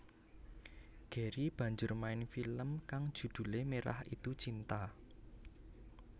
Gary banjur main film kang judhulé Merah Itu Cinta